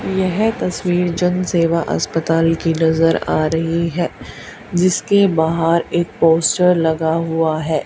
यह तस्वीर जनसेवा अस्पताल की नजर आ रही है जिसके बाहर एक पोस्टर लगा हुआ है।